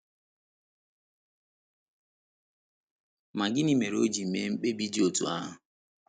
Ma gịnị mere o ji mee mkpebi dị otú ahụ?